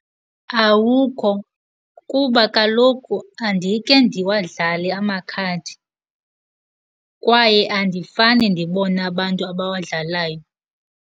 Awukho, kuba kaloku andike ndiwadlale amakhadi kwaye andifane ndibone abantu abawadlalayo.